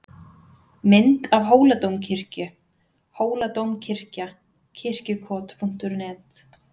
Mynd af Hóladómkirkju: Hóladómkirkja- Kirkjukot.net.